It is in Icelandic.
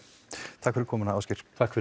takk fyrir komuna Ásgeir takk fyrir